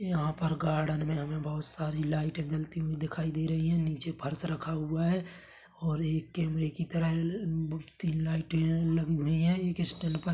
यहाँ पर गार्डन मे हमे बहुत सारी लाइटे जलती हुई दिखाई दे रही है नीचे फर्श रखा हुआ है और एक कैमरे के तरह अ तीन लाइटे लगी हुई है एक स्टैन्ड फैन पर--